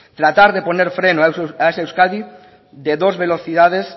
tratar de poner freno a esa euskadi de dos velocidades